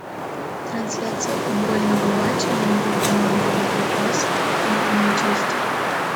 трансляция футбольного матча между командами нью касл и манчестер